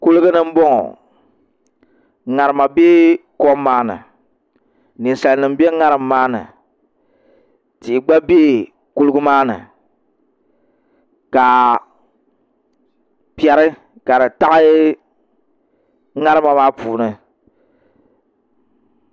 Kuligi ni n boŋo ŋarima bɛ kom maa ni ninsal nim bɛ ŋarim maa ni tihi gba bɛ kuligi maa ni ka piɛri ka di taɣi ŋarima maa puuni